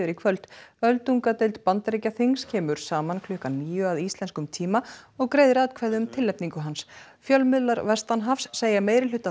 í kvöld öldungadeild Bandaríkjaþings kemur saman um klukkan níu að íslenskum tíma og greiðir atkvæði um tilnefningu hans fjölmiðlar vestanhafs segja meirihluta